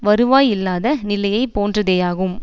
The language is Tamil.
வருவாய் இல்லாத நிலையை போன்றதேயாகும்